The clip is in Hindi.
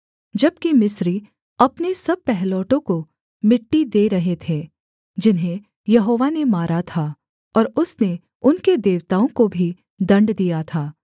जबकि मिस्री अपने सब पहिलौठों को मिट्टी दे रहे थे जिन्हें यहोवा ने मारा था और उसने उनके देवताओं को भी दण्ड दिया था